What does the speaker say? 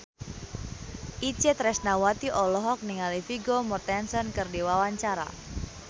Itje Tresnawati olohok ningali Vigo Mortensen keur diwawancara